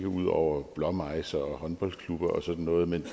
ud over blåmejser håndboldklubber og sådan noget men